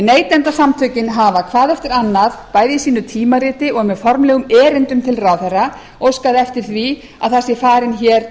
neytendasamtökin hafa hvað eftir annað bæði í sínu tímariti og með formlegum erindum til ráðherra óskað eftir því að það sé farin hér